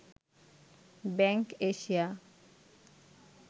bank Asia